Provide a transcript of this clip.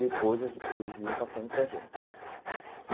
Depois, a gen eles iam passando para a gente e.